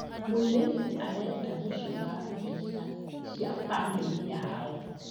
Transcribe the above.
Mũirĩtu arenda gũcora mbica cia bamĩrĩ yao.